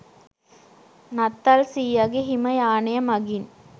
නත්තල් සීයගෙ හිම යානය මගින්